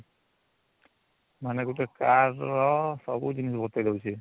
ମାନେ ଗୁଟେ car ର ସବୁ ଜିନିଷ ବତେଇ ଦଉଚି